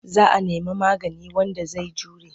Za a nemi maigadi wanda zai jure.